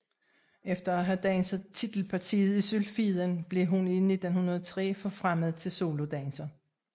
Efter at have danset titelpartiet i Sylfiden blev hun i 1903 forfremmet til solodanser